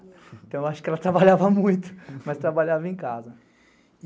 Então eu acho que ela trabalhava muito, mas trabalhava em casa.